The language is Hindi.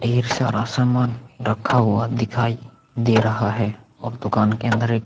ढेर सारा सामान रखा हुआ दिखाई दे रहा है और दूकान के अन्दर एक --